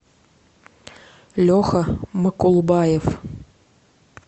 леха макулбаев